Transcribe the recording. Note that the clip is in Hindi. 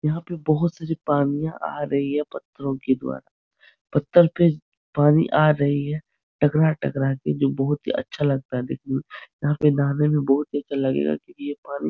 यहाँ पर बहुत सारी पनियां आ रही है। पत्थरों के द्वारा पत्थर पर पानी आ रही है टकरा - टकरा के जो बहुत ही अच्छा लगता है देखना यहाँ पर नहाने में बहुत अच्छा लगेगा क्योंकि ये पानी --